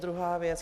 Druhá věc.